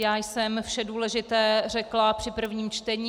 Já jsem vše důležité řekla při prvním čtení.